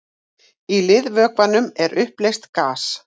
í liðvökvanum er uppleyst gas